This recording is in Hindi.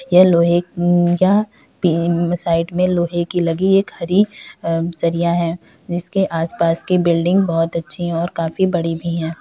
यह लोहे की जा साईड में लोहे की लगी एक हरी सरिया हैं इसके आस-पास की बिल्डिंग बहुत अच्छी हैं और काफी बड़ी भी हैं।